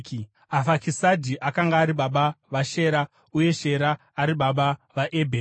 Afakisadhi akanga ari baba vaShera, uye Shera ari baba vaEbheri.